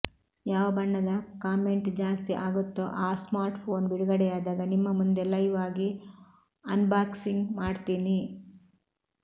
ಯಾವ ಬಣ್ಣದ ಕಾಮೆಂಟ್ ಜಾಸ್ತಿ ಆಗುತ್ತೋ ಆ ಸ್ಮಾರ್ಟ್ಫೋನ್ ಬಿಡುಗಡೆಯಾದಾಗ ನಿಮ್ಮ ಮುಂದೆ ಲೈವ್ ಆಗಿ ಅನ್ಬಾಕ್ಸಿಂಗ್ ಮಾಡ್ತೀನಿ